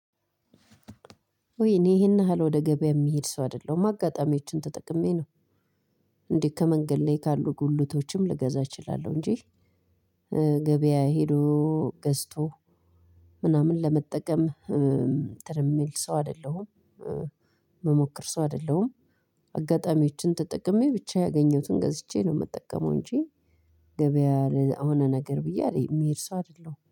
ውይ እኔ ይሄን ያህል ወደ ገበያ የሚሄድ ሰው አይደለሁም አጋጣሚዎችን ተጠቅሜ ነው እንዴ ከመንገድ ላይ ካሉ ጉልቶችም ልገዛ እችላለሁ እንጂ። ገበያ ሄዶ ገዝቶ ምናምን ለመጠቀም እንትን የሚል ሰው አይደለሁም። ምሞክር ሰው አይደለሁም። አጋጣሚዎችን ተጠቅሜ ብቻ ያገኘሁትን ገዝቼ ነው የምጠቀመው እንጂ ገበያ ለሆነ ነገር ብዬ የምሄድ ሰው አይደለሁም